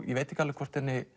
ég veit ekki hvort henni